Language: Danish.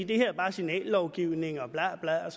det her bare er signallovgivning og bla bla og